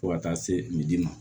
Fo ka taa se misidi ma